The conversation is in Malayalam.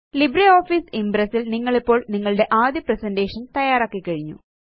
ലിബ്രിയോഫീസ് ഇംപ്രസ് ല് നിങ്ങളിപ്പോള് നിങ്ങളുടെ ആദ്യ പ്രസന്റേഷൻ തയ്യാറാക്കിക്കഴിഞ്ഞു